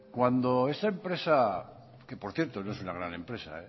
cuando esa empresa que por cierto no es una gran empresa